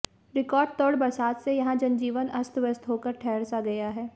रिकार्डतोड़ बरसात से यहां जनजीवन अस्तव्यस्त होकर ठहर सा गया है